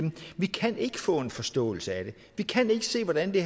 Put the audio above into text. vi kan ikke få en forståelse af det vi kan ikke se hvordan det